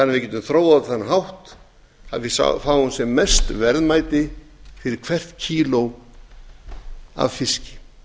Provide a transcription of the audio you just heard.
við getum þróað á þann hátt að við fáum sem mest verðmæti fyrir hvert kíló af fiski